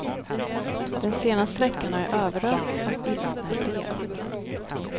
Den senaste veckan har jag överösts av ilskna brev.